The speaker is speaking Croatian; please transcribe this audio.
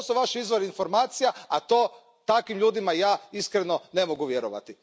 To su vaši izvori informacija a to, takvim ljudima, ja iskreno ne mogu vjerovati.